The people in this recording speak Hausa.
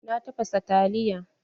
Na tafasa taliya.